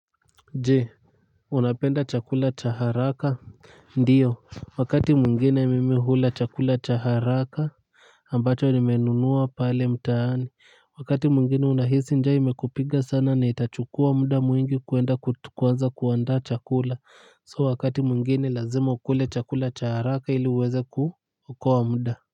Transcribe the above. Je, unapenda chakula cha haraka? Ndio wakati mwingine mimi hula chakula cha haraka. Ambacho nimenunua pale mtaani. Wakati mwingine unahisi njaa imekupiga sana na itachukua muda mwingi kuenda kuanza kuandaa chakula. So wakati mwingine lazima ukule chakula cha haraka ili uweze kuokoa muda.